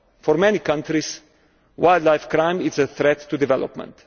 For many countries, wildlife crime is a threat to development.